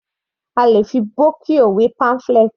A lè fi Brochure wé pamphlet.